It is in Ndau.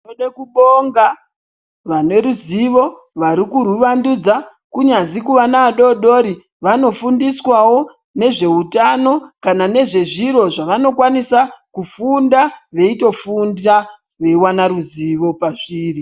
Tinode kubonga vaneruzivo, varikurwuwandudza kunyazwi kuvana vadodori vanofundiswawo nezveutano kana nezvezviro zvavanokwanisa kufunda veitofunda veiwana ruzivo pazviri.